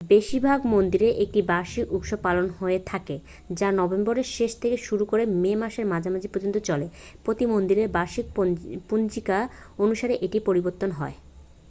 বেশিরভাগ মন্দিরেই একটি বার্ষিক উৎসব পালন হয়ে থাকে যা নভেম্বরের শেষ থেকে শুরু করে মে মাসের মাঝামাঝি পর্যন্ত চলে প্রতিটি মন্দিরের বার্ষিক পঞ্জিকা অনুসারে এটি পরিবর্তিত হয়